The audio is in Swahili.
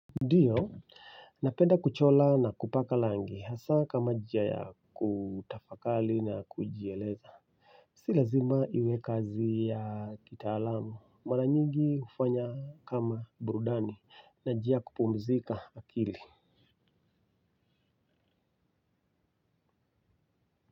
Ndiyo, napenda kuchora na kupaka rangi hasa kama njia ya kutafakari na kujieleza si lazima iwe kazi ya kitaalamu, mara nyingi hufanya kama burudani na njia ya kupumzika akili.